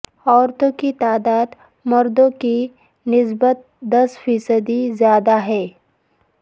عورتوں کی تعداد مردوں کی نسبت دس فیصد زیادہ ہے